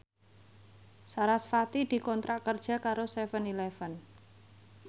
sarasvati dikontrak kerja karo seven eleven